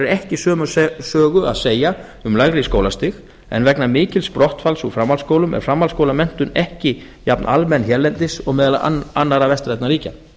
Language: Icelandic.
ekki sömu sögu að segja um lægri skólastig en vegna mikils brottfalls úr framhaldsskólum er framhaldsskólamenntun ekki jafn almenn hérlendis og meðal annarra vestrænna ríkja